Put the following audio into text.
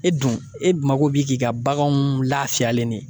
E dun e dun mago bi k'i ka baganw lafiyalen de ye